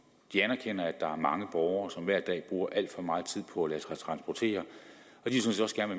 de anerkender at der er mange borgere som hver dag bruger alt for meget tid på at lade sig transportere og de